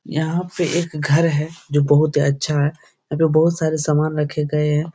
यहाँ पे एक घर है जो बहुत अच्छा है। यहाँ पे बहुत सारे समान रखे गए हैं।